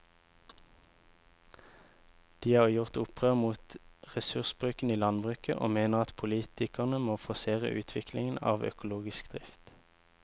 De har gjort opprør mot ressursbruken i landbruket og mener at politikerne må forsere utviklingen av økologisk drift.